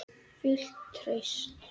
Fullt traust?